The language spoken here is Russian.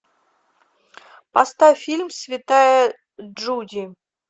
поставь фильм святая джуди